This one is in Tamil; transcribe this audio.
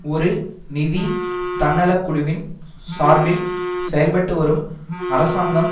ஒரு நிதி தன்னலக்குழுவின் சார்பில் செயல்பட்டு வரும் அரசாங்கம்